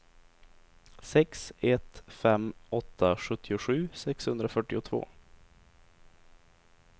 sex ett fem åtta sjuttiosju sexhundrafyrtiotvå